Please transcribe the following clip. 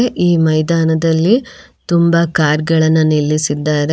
ಈ ಮೈದಾನದಲ್ಲಿ ತುಂಬ ಕಾರ್ ಗಳನ್ನ ನಿಲ್ಲಿಸಿದ್ದಾರೆ.